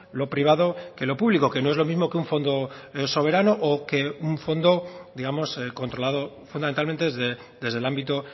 lo privado que lo público que no es lo mismo que un fondo soberano o que un fondo digamos controlado fundamentalmente desde el ámbito